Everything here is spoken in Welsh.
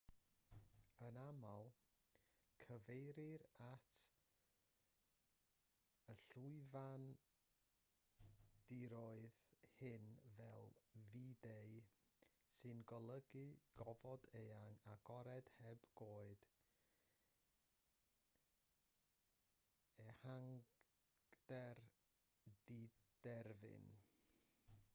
yn aml cyfeirir at y llwyfandiroedd hyn fel vidde sy'n golygu gofod eang agored heb goed ehangder diderfyn